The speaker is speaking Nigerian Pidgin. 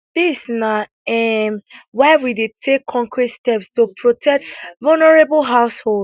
dis na um why we dey take concrete steps to protect vulnerable households